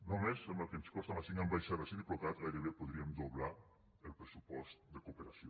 només amb el que ens costen les cinc ambaixades i diplocat gairebé podríem doblar el pressupost de cooperació